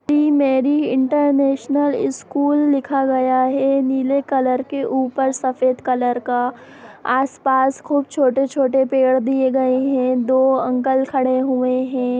D Mary international school लिखा गया है नीले कलर के ऊपर सफ़ेद कलर का आस-पास खूब छोटे-छोटे पेड़ दिए गए हैं दो अंकल खड़े हुए हैं।